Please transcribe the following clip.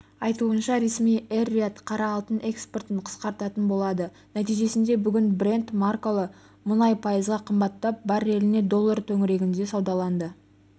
айтуынша ресми эр-рияд қара алтын экспортын қысқартатын болады нәтижесінде бүгін брент маркалы мұнай пайызға қымбаттап барреліне доллар төңірегінде саудаланды